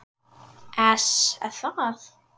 ES Er það?